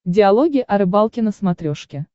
диалоги о рыбалке на смотрешке